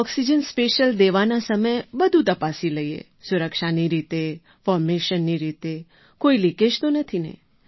oxygen special દેવાના સમયે બધું તપાસી લઈએ સુરક્ષાની રીતે ફૉર્મેશનની રીતે કોઈ લીકેજ તો નથી ને